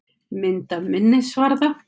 Mynd af minnisvarða.